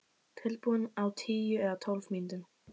Tilbúið á tíu eða tólf mínútum.